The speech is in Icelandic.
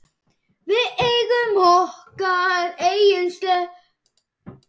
Við eigum okkar eigin Seif.